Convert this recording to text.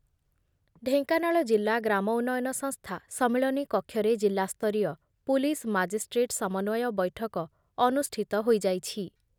ଢେଙ୍କାନାଳ ଜିଲ୍ଲା ଗ୍ରାମ ଉନ୍ନୟନ ସଂସ୍ଥା ସମ୍ମିଳନୀ କକ୍ଷରେ ଜିଲ୍ଲାସ୍ତରୀୟ ପୁଲିସ୍ ମାଜିଷ୍ଟ୍ରେଟ୍ ସମନ୍ବୟ ବୈଠକ ଅନୁଷ୍ଠିତ ହୋଇଯାଇଛି ।